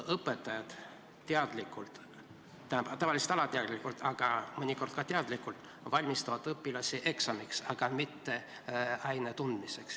Õpetajad teadlikult – tähendab, tavaliselt alateadlikult, aga mõnikord ka teadlikult – valmistavad õpilasi ette eksamiks, mitte aine tundmiseks.